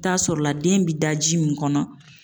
I bi taa sɔrɔ la , den bi da ji mun kɔnɔ